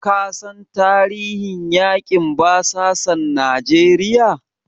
Ka san tarihin yaƙin basasan Najeriya?